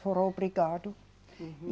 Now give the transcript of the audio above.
Foi obrigado.